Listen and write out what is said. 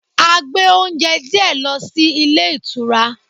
A gbé oúnjẹ díẹ̀ lọ sí ilé ìtura.